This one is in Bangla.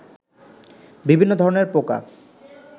বিভিন্ন ধরনের পোকা